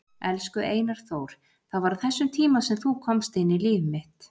Elsku Einar Þór, það var á þessum tíma sem þú komst inn í líf mitt.